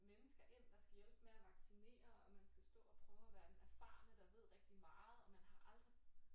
Mennesker ind der skal hjælpe med at vaccinere og man skal stå og prøve at være den erfarne der ved rigtig meget og man har aldrig